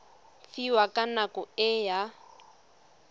fiwang ka nako e a